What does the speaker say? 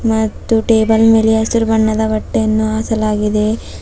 ಮತ್ತು ಟೇಬಲ್ ಮೇಲೆ ಹಸಿರು ಬಣ್ಣದ ಬಟ್ಟೆಯನ್ನು ಹಾಸಲಾಗಿದೆ.